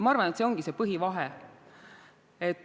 Ma arvan, et see ongi see põhivahe.